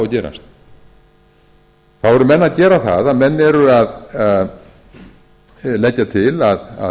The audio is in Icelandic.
gerast þá eru menn að gera það að menn eru að leggja til að